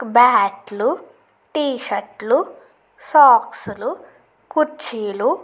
bat లు T shirt లు socks లు కుర్చీలు --